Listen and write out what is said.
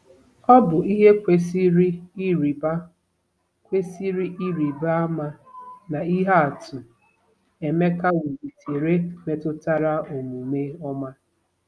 Ọ bụ ihe kwesịrị ịrịba kwesịrị ịrịba ama na ihe atụ Emeka welitere metụtara omume ọma.